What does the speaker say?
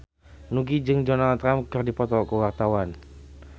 Nugie jeung Donald Trump keur dipoto ku wartawan